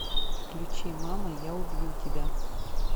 включи мама я убью тебя